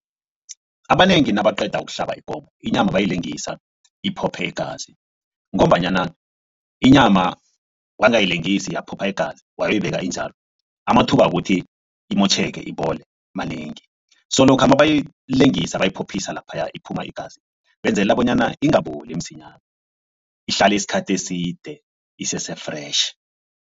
Abanengi nabaqeda kuhlaba ikomo inyama bayayilengisa iphopho iingazi ngombanyana inyama wangayilengisi yaphopho igazi wayoyibeka injalo amathuba wokuthi imotjheke ibole manengi. So lokha mabayoyilengisa bayiphophisa laphaya iphuma igazi benzelela bonyana ingaboli msinyana ihlale isikhathi eside isese-fresh.